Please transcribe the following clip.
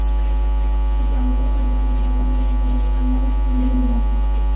ਪਰ ਜ਼ਿਆਦਾਤਰ ਇਹ ਸਾਰੀ ਸਾਈਟ ਨੂੰ ਬਦਲਣਾ ਜ਼ਰੂਰੀ ਹੁੰਦਾ ਹੈ